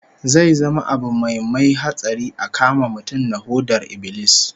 Zai zama abu mai mai hatsari a kama mutum da hodar ibilis